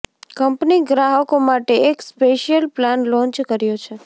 company ગ્રાહકો માટે એક સ્પેશિયલ પ્લાન લોન્ચ કર્યો છે